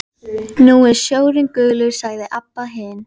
Nú er sjórinn gulur, sagði Abba hin.